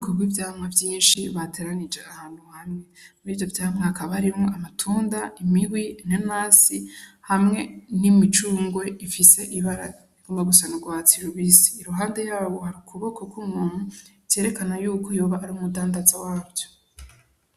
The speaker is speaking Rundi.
Kubwi vyamwa vyinshi bateranije ahantu hamwe, muri vyo vyamwa hakaba harimwo amatunda, imihwi, inanasi, hamwe n'imicungwe ifise ibara rigomba gusa n'ugwatsi rubisi, iruhande yaho hari ukuboko k'umuntu vyerekana yuko yoba ari umudandaza wavyo.